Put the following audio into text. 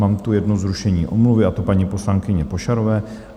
Mám tu jedno zrušení omluvy, a to paní poslankyně Pošarové.